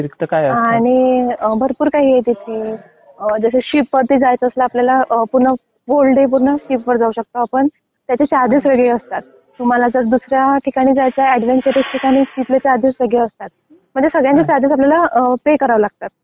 आणि भरपूर काही आहे तिथे. जसं शिप कॉटेज आहे तिथे आपल्याला पूर्ण फुल डे पूर्ण शिप वर राहू शकतो आपण. त्याचे चार्जेस वेगळे असतात. तुम्हाला जर दुसऱ्या ठिकाणी जायचं आहे एडवेंचरस् ठिकाणी तिथले चार्जेस वेगळे असतात. म्हणजे सगळ्या ठिकाणी चार्जेस आपल्याला पे करावे लागतात.